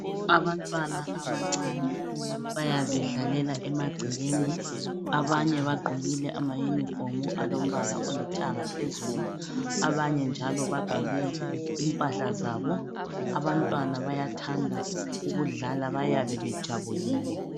Abanye abancane bayazidlalela emangcekeni, abanye bagqokile ama Yunifomu alombala olithanga phezulu abanye njalo bagqokile impahla zabo. Abantwana bayathanda ukudlala bayabe bejabulile.